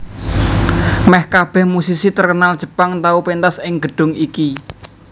Meh kabeh musisi terkenal Jepang tau pentas ing gedung iki